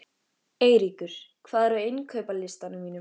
Eyríkur, hvað er á innkaupalistanum mínum?